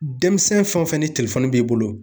Denmisɛn fɛn o fɛn ni b'i bolo